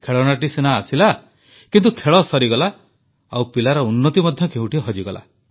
ଖେଳଣାଟି ଆସିଲା ସିନା କିନ୍ତୁ ଖେଳ ସରିଗଲା ଏବଂ ପିଲାର ଉନ୍ନତି ମଧ୍ୟ କେଉଁଠି ହଜିଗଲା